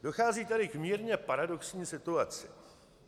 Dochází tady k mírně paradoxní situaci.